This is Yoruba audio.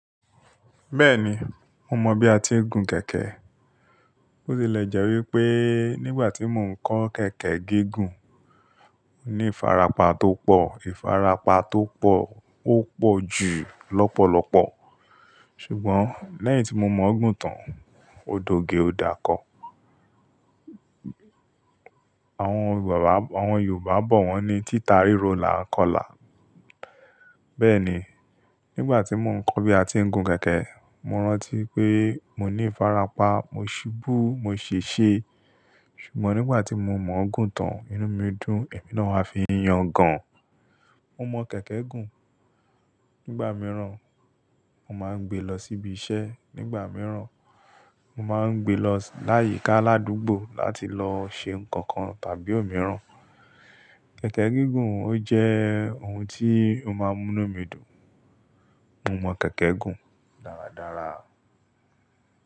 Bẹ́ẹ̀ni, mo mọ bí a ti ń gun kẹ̀kẹ́. Ó ti lè jẹ́ wípé nígbà tí mò ń kọ́ kẹ̀kẹ́ gígùn, mo ní ìfarapa tó pọ̀, ìfarapa tó pọ̀, ó pọ̀ jù lọ́pọ̀lọ́pọ̀. Ṣùgbọ́n lẹ́yìn tí mo mọ̀ ọ́ gùn tán, ó doge ó dáko. Àwọn Yorùbá bọ̀ wọ́n ní "títarí ro là ń kọlà". Bẹ́ẹ̀ni, nígbà tí mò ń kọ́ bí a ti ń gun kẹ̀kẹ́, mo rántí pé mo ní ìfarapa, mo ṣubú, mo ṣèṣe. Ṣùgbọ́n nígbà tí mo mọ̀ ọ́ gùn tán, inú mi dùn, èmi náà fi ń yangàn. Mo mọ kẹ̀kẹ́ gùn, nígbà mìíràn mo máa ń gbé lọ síbi iṣẹ́, nígbà mìíràn, mo máa ń gbé lọ láyìíká aládùúgbò láti lọ ṣe ǹkan kan tàbí òmíràn. Kẹ̀kẹ́ gígùn ó jẹ́ ohun tí ó máa ń múni mì dùn. Mo mọ kẹ̀kẹ́ gùn dáradára.